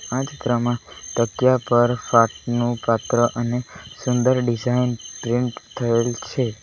આ ચિત્રમાં તકિયા પર અને સુંદર ડિઝાઇન પ્રિન્ટ થયેલ છે.